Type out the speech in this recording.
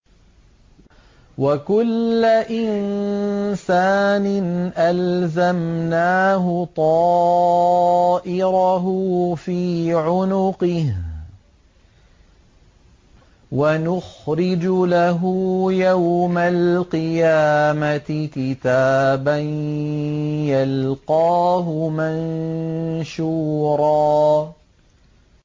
وَكُلَّ إِنسَانٍ أَلْزَمْنَاهُ طَائِرَهُ فِي عُنُقِهِ ۖ وَنُخْرِجُ لَهُ يَوْمَ الْقِيَامَةِ كِتَابًا يَلْقَاهُ مَنشُورًا